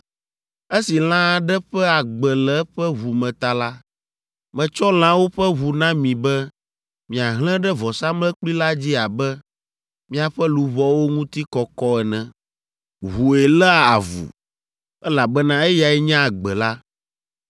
Esi lã aɖe ƒe agbe le eƒe ʋu me ta la, metsɔ lãwo ƒe ʋu na mi be miahlẽ ɖe vɔsamlekpui la dzi abe miaƒe luʋɔwo ŋuti kɔkɔ ene. Ʋue léa avu, elabena eyae nye agbe la.